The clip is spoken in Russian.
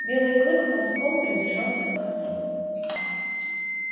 белый клык ползком приближался к костру